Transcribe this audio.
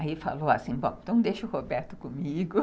Aí falou assim, bom, então deixa o Roberto comigo.